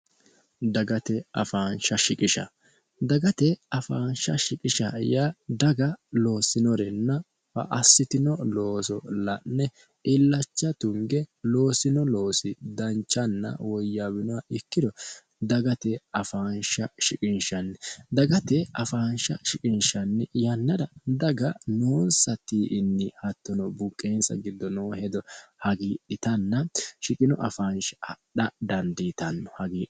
dagate afaansha shiqisha dagate afaansha shiqisha ya daga loossinorenna fa assitino looso la'ne illacha tunge loosino loosi danchanna woyyaawinoa ikkiro dagate afaansha shiqinshanni dagate afaansha shiqinshanni yannara daga noonsa tii''inni hattono buuqqeensa giddo noo hedo hagiidhitanna shiqino afaansha adha dandiitanno hagiro